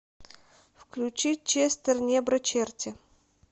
включи честер небро черти